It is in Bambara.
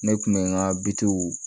Ne kun bɛ n ka bitikiw